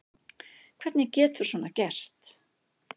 Hvernig getur svona gerst?